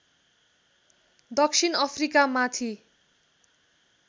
दक्षिण अफ्रिकामाथि